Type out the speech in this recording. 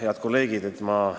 Head kolleegid!